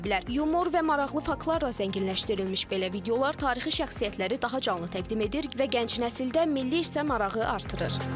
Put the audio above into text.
Yumor və maraqlı faktlarla zənginləşdirilmiş belə videolar tarixi şəxsiyyətləri daha canlı təqdim edir və gənc nəsildə milli hissə marağı artırır.